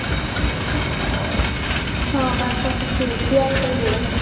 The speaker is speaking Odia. ହଁ ବାସ ତା ଶଶୁର ସିଏ ଆଗ କହିଲେ ଏଇ କଥାଟା